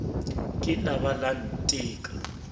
ke la ba la nteka